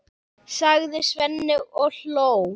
sagði Svenni og hló.